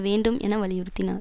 வேண்டும் என வலியுறுத்தினார்